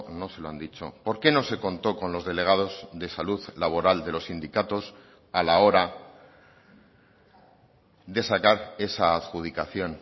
no se lo han dicho por qué no se contó con los delegados de salud laboral de los sindicatos a la hora de sacar esa adjudicación